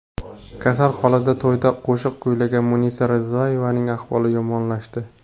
Kasal holida to‘yda qo‘shiq kuylagan Munisa Rizayevaning ahvoli yomonlashdi.